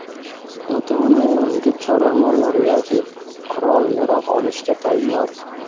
ota-ona evaziga chorva mollari yoki qurol-yarog‘ olishga tayyor.